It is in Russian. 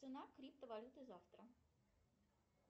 цена криптовалюты завтра